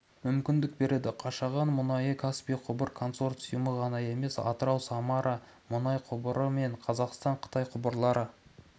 мүмкіндік береді қашағанның мұнайы каспий құбыр концорсиумы ғана емес атырау-самара мұнай құбыры мен қазақстан-қытай құбырлар